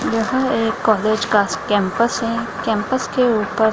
यहां एक कॉलेज का कैंपस है कैंपस के ऊपर --